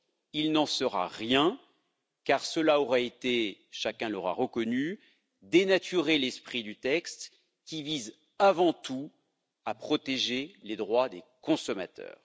Il n'en sera rien car cela aurait été chacun l'aura reconnu dénaturer l'esprit du texte qui vise avant tout à protéger les droits des consommateurs.